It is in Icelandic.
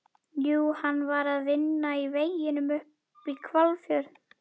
Jú, hann var að vinna í veginum upp í Hvalfjörð.